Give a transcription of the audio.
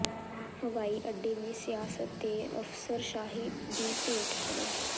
ਹਵਾਈ ਅੱਡੇ ਵੀ ਸਿਆਸਤ ਤੇ ਅਫ਼ਸਰਸ਼ਾਹੀ ਦੀ ਭੇਟ ਚੜ੍ਹੇ